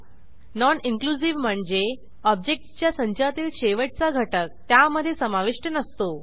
non inclusive म्हणजे ऑब्जेक्टसच्या संचातील शेवटचा घटक त्यामधे समाविष्ट नसतो